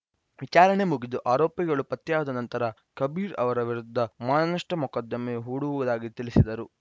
ವಿಚಾರಣೆ ಮುಗಿದು ಆರೋಪಿಗಳು ಪತ್ತೆಯಾದ ನಂತರ ಕಬೀರ್‌ ಅವರ ವಿರುದ್ಧ ಮಾನನಷ್ಠ ಮೊಕದ್ದಮೆ ಹೂಡುವುದಾಗಿ ತಿಳಿಸಿದರು